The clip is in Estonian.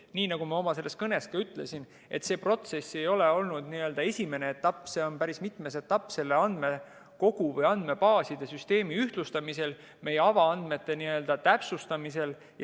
Nii nagu ma oma kõnes ka ütlesin, see protsess ei ole olnud esimene etapp, see on päris mitmes etapp andmebaaside süsteemi ühtlustamisel, meie avaandmete täpsustamisel.